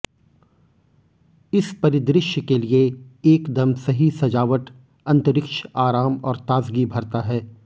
इस परिदृश्य के लिए एकदम सही सजावट अंतरिक्ष आराम और ताजगी भरता है